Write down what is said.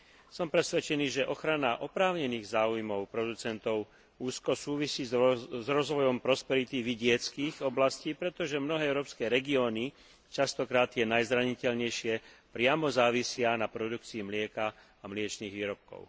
Som presvedčený, že ochrana oprávnených záujmov producentov úzko súvisí s rozvojom prosperity vidieckych oblastí, pretože mnohé európske regióny, mnohokrát tie najzraniteľnejšie, priamo závisia na produkcii mlieka a mliečnych výrobkov.